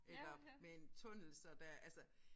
Eller med en tunnel så der altså